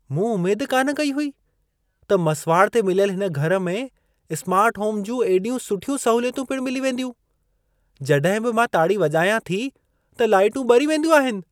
मूं उमेद कान कई हुई त मसिवाड़ ते मिलयल हिन घर में स्मार्ट होम जूं एॾियूं सुठियूं सहूलियतूं पिण मिली वेंदियूं। जड॒हिं बि मां ताड़ी वॼायां थी, त लाइटूं ॿरी वेंदियूं आहिनि।